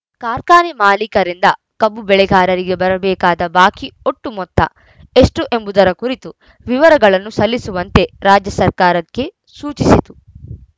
ಕಾರ್ಖಾನೆ ಮಾಲೀಕರಿಂದ ಕಬ್ಬು ಬೆಳೆಗಾರರಿಗೆ ಬರಬೇಕಾದ ಬಾಕಿ ಒಟ್ಟು ಮೊತ್ತ ಎಷ್ಟುಎಂಬುದರ ಕುರಿತು ವಿವರಗಳನ್ನು ಸಲ್ಲಿಸುವಂತೆ ರಾಜ್ಯ ಸರ್ಕಾರಕ್ಕೆ ಸೂಚಿಸಿತು